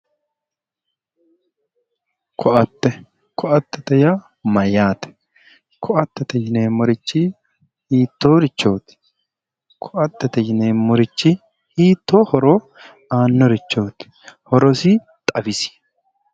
Koatte koatete yaa mayyaate? koattete yineemmorichi hiittoorichooti? koattete yineemmorichi hiittoo horo aannorichooti? horosi xawisi.